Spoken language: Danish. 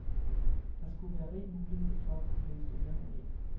Der skulle være rig mulighed for at få blæst ørerne af.